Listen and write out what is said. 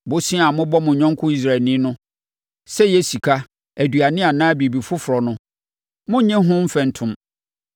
Bosea a mobɔ mo yɔnko Israelni no, sɛ ɛyɛ sika, aduane anaa biribi foforɔ no, monnnye ho mfɛntom.